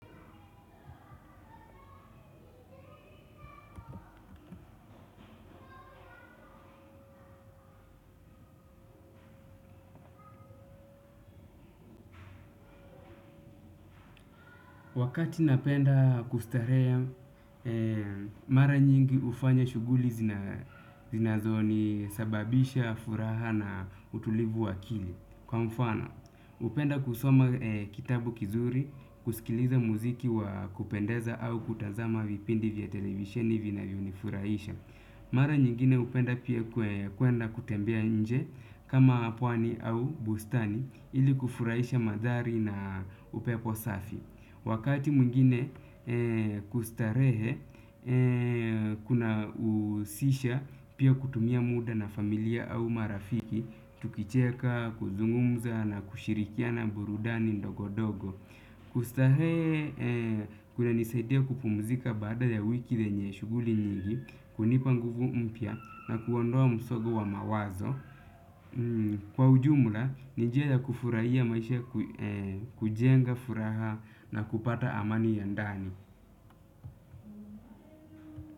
Wakati napenda kustarehe, mara nyingi hufanya shughuli zinazonisababisha furaha na utulivu wa akili. Kwa mfano, hupenda kusoma kitabu kizuri, kusikiliza muziki wa kupendeza au kutazama vipindi vya televisheni vinavyonifurahisha. Mara nyingine hupenda pia kuenda kutembea nje kama pwani au bustani ili kufurahisha mandhari na upepo safi. Wakati mwingine kustarehe kunahusisha pia kutumia muda na familia au marafiki. Tukicheka, kuzungumza na kushirikiana burudani ndogo dogo. Kustarehe kunanisaidia kupumzika baada ya wiki lenye shughuli nyingi kunipa nguvu mpya na kuondoa msongo wa mawazo. Kwa ujumla, ni njia ya kufurahia maisha kujenga furaha na kupata amani ya ndani.